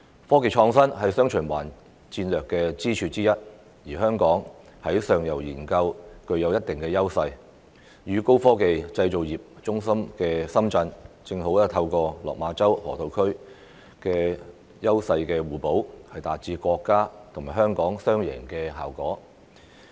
科技創新是"雙循環"戰略的支柱之一，而香港在上游研究具有一定的優勢，與高科技製造業中心的深圳，正好透過落馬洲河套區的優勢互補，達致國家及香港"雙贏"的效果。